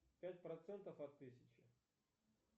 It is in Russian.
пять процентов от тысячи